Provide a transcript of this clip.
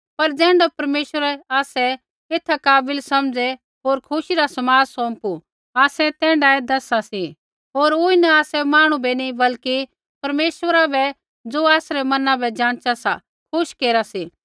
पर ज़ैण्ढा परमेश्वरै आसै एथा काबिल समझ़ै होर खुशी रा समाद सौंपू आसै तैण्ढाऐ दैसा सी होर ऊँई न आसै मांहणु बै नी बल्कि परमेश्वरा बै ज़ो आसरै मैना बै जाँचा सा खुश केरा सी